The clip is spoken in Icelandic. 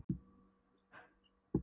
Var hann í stríðinu? spurði Lilla.